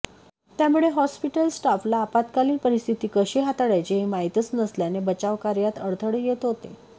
त्यामुळे हॉस्पिटल स्टाफला आपत्कालीन परिस्थिती कशी हाताळायची हे माहितीच नसल्याने बचाव कार्यात अडथळे येत होते